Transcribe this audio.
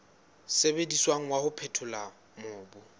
sebediswang wa ho phethola mobu